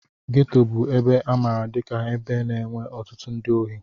Geto bụ ebe a maara dika ebe na-enwe ọtụtụ ndị ohi.